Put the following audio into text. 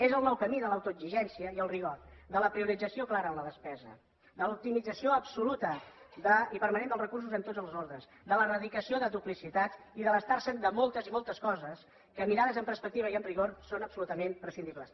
és el nou camí de l’autoexigència i el rigor de la priorització clara en la despesa de l’optimització absoluta i permanent dels recursos en tots els ordres de l’eradicació de duplicitats i d’estar se’n de moltes i moltes coses que mirades amb perspectiva i amb rigor són absolutament prescindibles